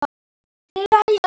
Elsku Haddi minn.